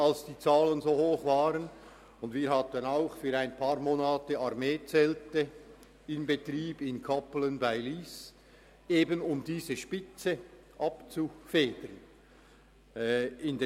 Für einige Monate hatten wir in Kappelen bei Lyss auch Armeezelte in Betrieb, um diese Spitze abzufedern.